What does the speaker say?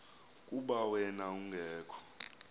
kuba wen ungekho